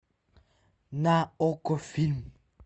на окко фильм